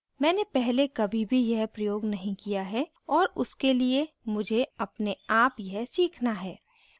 मैंने पहले कभी भी यह प्रयोग नहीं किया है और उसके लिए मुझे अपने आप यह सीखना है